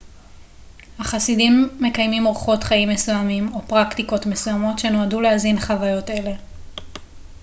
החסידים מקיימים אורחות חיים מסוימים או פרקטיקות מסוימות שנועדו להזין חוויות אלה